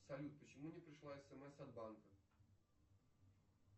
салют почему не пришла смс от банка